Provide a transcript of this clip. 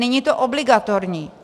Není to obligatorní.